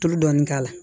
Tulu dɔɔni k'a la